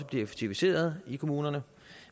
bliver effektiviseret i kommunerne